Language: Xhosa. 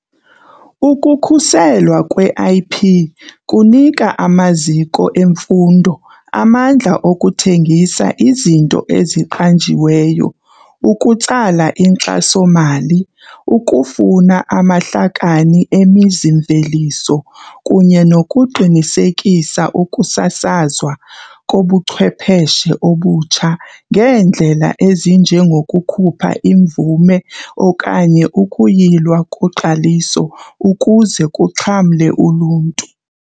Ukukhuselwa kwe-IP kunika amaziko emfundo amandla okuthengisa izinto eziqanjiweyo, ukutsala inkxaso-mali, ukufuna amahlakani emizi-mveliso kunye nokuqinisekisa ukusasazwa kobuchwepheshe obutsha ngeendlela ezinjengokukhupha imvume okanye ukuyilwa koqaliso ukuze kuxhamle uluntu.